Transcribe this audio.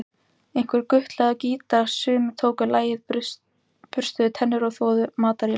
Einhver gutlaði á gítar, sumir tóku lagið, burstuðu tennur, þvoðu upp matarílát.